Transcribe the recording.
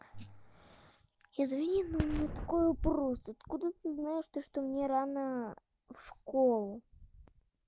извини но у меня такой вопрос откуда ты знаешь то что мне рано в школу